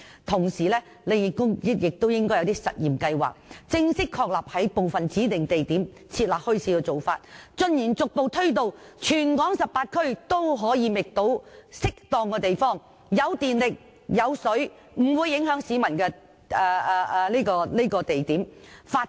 同時，政府應推出一些試驗計劃，正式確立在部分指定地點設立墟市，逐步推展至全港18區，以至各區均可覓得既有電力和水供應，又不會影響市民的適當地點發展墟市，推廣......